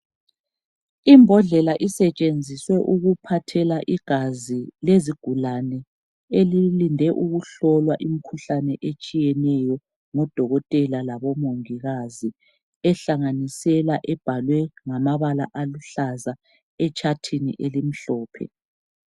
Imbodlela isetshenziswe ukuphathela igazi lezigulane elilinde ukuhlolwa imikhuhlane etshiyeneyo ngodokotela labo mongikazi, ehlanganisela ebhalwe ngamabala aluhlaza etshathini elimhlophe.